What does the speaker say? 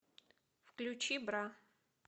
включи бра